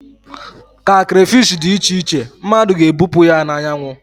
ka crayfish dị iche iche, mmadụ ga-ebupụ ya na anyanwụ